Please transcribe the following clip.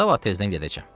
Sabah tezdən gedəcəm.